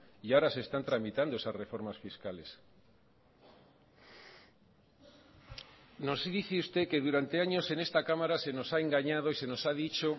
y ahora se están tramitando esas reformas fiscales nos dice usted que durante años en esta cámara se nos ha engañado y se nos ha dicho